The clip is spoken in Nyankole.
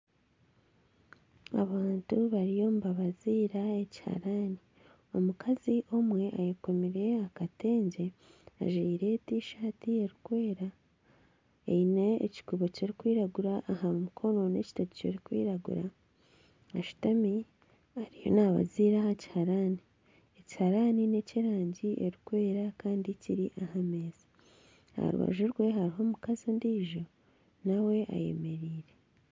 Abantu bariyo nibabaziira ekiharani. Omukazi omwe ayekomire akatengye, ajwire tishati erikwera eine ekikuubo kirikwiragura aha mikono n'ekitogi kirikwiragura. Ashutami ariyo naabaziira aha kiharani. Ekiharaani neky'erangi erikwera kandi kiri aha meeza. Aha rubaju rwe hariho omukazi ondiijo nawe ayemereire.